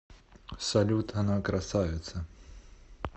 салют она красавица